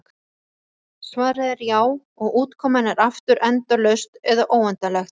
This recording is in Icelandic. Svarið er já, og útkoman er aftur endalaust eða óendanlegt.